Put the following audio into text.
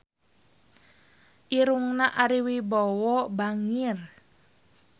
Irungna Ari Wibowo bangir